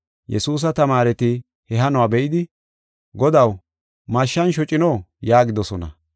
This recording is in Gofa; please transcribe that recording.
Yesuusa tamaareti he hanuwa be7idi, “Godaw mashshan shocino?” yaagidosona.